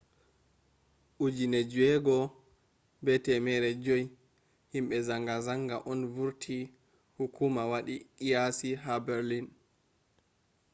6,500 himbe zanga-zanga on vurti hukuma wadi qiyasi ha berlin